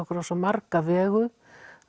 okkur á svo marga vegu